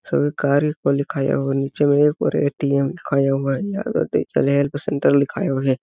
सरकार लिखाया हुआ है और नीचे में और एक ए.टी.एम. लिखाया हुआ और हेल्प सेंटर लिखाया हुआ है।